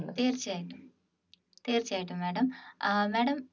തീർച്ചയായിട്ടും തീർച്ചയായിട്ടും madam uh madam